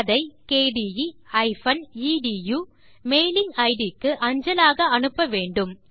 அதை kde எடு mailing இட் க்கு அஞ்சலாக அனுப்ப வேண்டும்